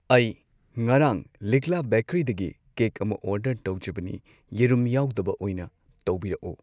ꯑꯩ ꯉꯔꯥꯡ ꯂꯤꯛꯂꯥ ꯕꯦꯀꯔꯤꯗꯒꯤ ꯀꯦꯛ ꯑꯃ ꯑꯣꯔꯗꯔ ꯇꯧꯖꯕꯅꯤ ꯌꯦꯔꯨꯝ ꯌꯥꯎꯗꯕ ꯑꯣꯏꯅ ꯇꯧꯕꯤꯔꯛꯑꯣ꯫